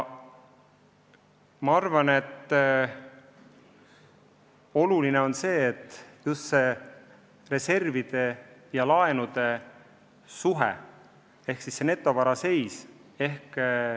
Ma arvan, et oluline on just reservide ja laenude suhe ehk siis netovara seis.